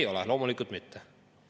Ei ole, loomulikult mitte.